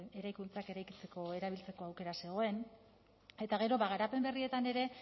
eraikuntzak eraikitzeko erabiltzeko aukera zegoen eta gero ba garapen berrietan ere